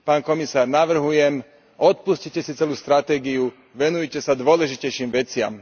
Pán komisár, navrhujem, odpustite si celú stratégiu, venujte sa dôležitejším veciam.